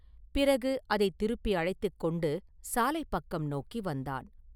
பிறகு அதைத் திருப்பி அழைத்துக் கொண்டு சாலைப் பக்கம் நோக்கி வந்தான்.